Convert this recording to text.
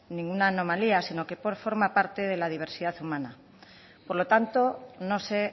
ninguna anomalía sino que forma parte de la diversidad humana por lo tanto no se